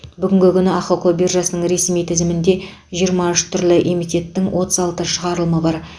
бүгінгі күні ахқо биржасының ресми тізімінде жиырма үш түрлі эмитеттің отыз алты шығарылымы бар